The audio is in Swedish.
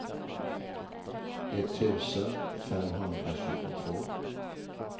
etttusen femhundratjugotvå